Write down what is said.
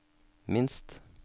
minst